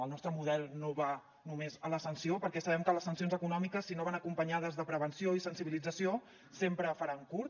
el nostre model no va només a la sanció perquè sabem que les sancions econòmiques si no van acompanyades de prevenció i sensibilització sempre faran curt